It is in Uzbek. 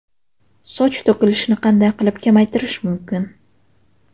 Soch to‘kilishini qanday qilib kamaytirish mumkin?